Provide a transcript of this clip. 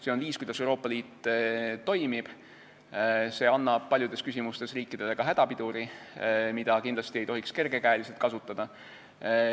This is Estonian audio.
See on viis, kuidas Euroopa Liit toimib, see annab paljudes küsimustes riikidele ka hädapiduri, mida kindlasti ei tohiks kergekäeliselt kasutada.